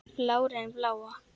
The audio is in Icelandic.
Blárri en blá.